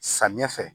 Samiyɛ fɛ